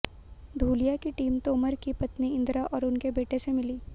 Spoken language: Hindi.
धूलिया की टीम तोमर की पत्नी इंद्रा और उनके बेटे से मिली